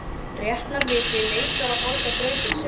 Réttarvitnið neitar að borða grautinn sinn.